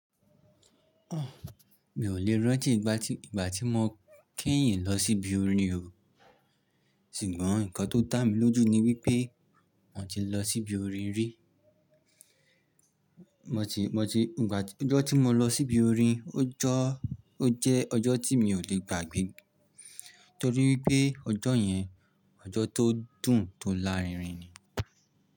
Mi ò le rántí ìgbà tí, ìgbà tí mo kẹ́yìn lọ sí ibi orin o. Ṣùgbọ́n nǹkan tó dà mí lójú ni wípé mo ti lọ sí ibi orin rí. Mo ti, mo ti, ìgbà tí, ọjọ́ tí mo lọ sí ibi orin o jọ́, o jẹ́ ọjọ́ tí mi ò le gbàgbé. Torí ipé ọjọ́ yẹn, ọjọ́ tó dùn tó lárinrin ni.